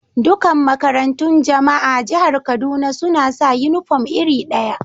Dukan makarantun Jama'a a Jihar Kaduna suna sa uniform iri daya.